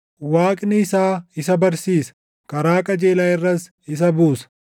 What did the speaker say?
Waaqni isaa isa barsiisa; karaa qajeelaa irras isa buusa.